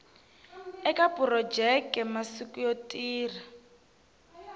eka phurojeke masiku yo tirha